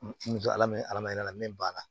N to ala min ye ala yira la min b'a la